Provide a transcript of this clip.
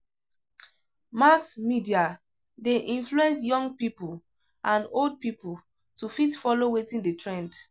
Mass media de influence young pipo and old pipo to fit follow wetin de trend